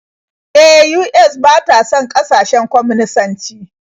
E, US ba ta son ƙasashen kwaminisanci.